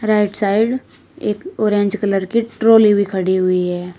Right side एक orange colour की trolley भी खड़ी हुई है।